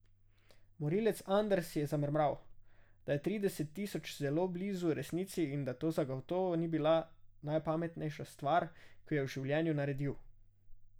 Morilec Anders je zamrmral, da je trideset tisoč zelo blizu resnici in da to zagotovo ni bila najpametnejša stvar, ki jo je v življenju naredil.